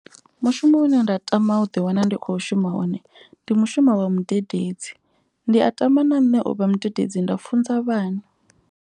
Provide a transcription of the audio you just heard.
Mushumo une nda tama u ḓi wana ndi kho shuma hone ndi mushumo wa mudededzi. Ndi a tama na nṋe uvha mudededzi nda funza vhana.